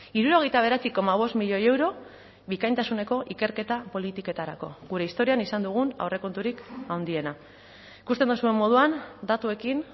hirurogeita bederatzi koma bost milioi euro bikaintasuneko ikerketa politiketarako gure historian izan dugun aurrekonturik handiena ikusten duzuen moduan datuekin